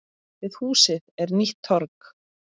Við húsið er nýtt torg.